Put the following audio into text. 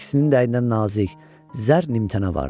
İkisinin də əynində nazik zər nimtənə vardı.